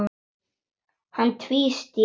Hann tvísté.